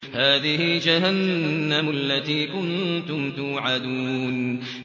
هَٰذِهِ جَهَنَّمُ الَّتِي كُنتُمْ تُوعَدُونَ